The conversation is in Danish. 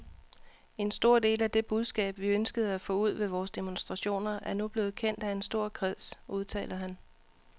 En stor del af det budskab, vi ønskede at få ud ved vores demonstrationer, er nu blevet kendt af en stor kreds, udtaler han.